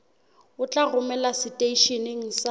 o tla romelwa seteisheneng sa